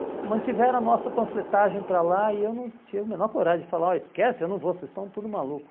mantiveram a nossa panfletagem para lá e eu não tinha a menor coragem de falar, esquece, eu não vou, vocês estão tudo malucos.